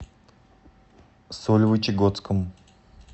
сольвычегодском